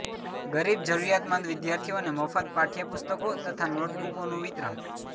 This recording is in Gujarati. ગરીબ જરૂરિયાતમંદ વિદ્યાર્થીઓને મફત પાઠ્ય પુસ્તકો તથા નોટબુકોનું વિતરણ